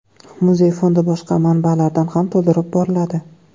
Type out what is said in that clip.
Muzey fondi boshqa manbalardan ham to‘ldirib boriladi.